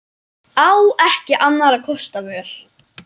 Á ekki annarra kosta völ.